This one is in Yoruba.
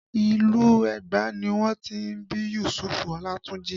Ìlú Ẹgba ni wọ́n ti bí Yusufu Olatunji